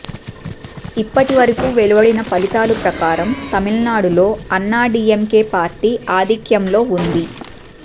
ఇప్పటి వరకు వెలువడిన ఫలితాల ప్రకారం తమిళనాడులో అన్నాడిఎంకె పార్టీ ఆధిక్యంలో ఉంది